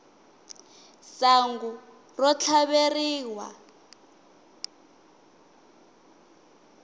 sangu ro tlhaveriwa